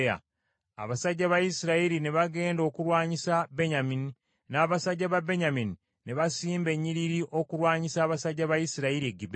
Abasajja ba Isirayiri ne bagenda okulwanyisa Benyamini, n’abasajja ba Benyamini ne basimba ennyiriri okulwanyisa abasajja ba Isirayiri e Gibea.